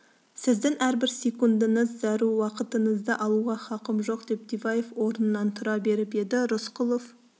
сіздің әрбір секундіңіз зәру уақытыңызды алуға хақым жоқ деп диваев орнынан тұра беріп еді рысқұлов